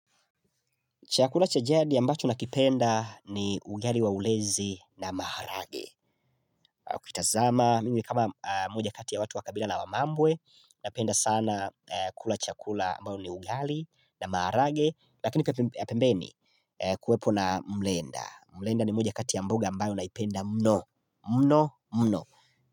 Chakula cha jadi ambacho nakipenda ni ugali wa ulezi na maharage ukitazama, mimi kama mmoja kati ya watu wa kabila la wamambwe Napenda sana kula chakula ambayo ni ugali na maharage Lakini ya pembeni kuwepo na mlenda Mlenda ni moja kati ya mboga ambayo naipenda mno, mno, mno.